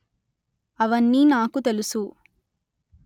అవన్నీ నాకు తెలుసు